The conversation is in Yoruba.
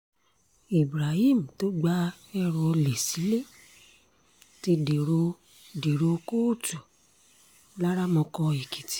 ibrahim tó gba ẹrù olè sílé ti dèrò dèrò kóòtù laramọkọ èkìtì